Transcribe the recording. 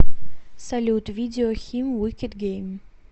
салют видео хим викед гейм